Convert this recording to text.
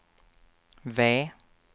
V